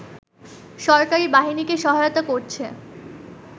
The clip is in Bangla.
সরকারি বাহিনীকে সহায়তা করছে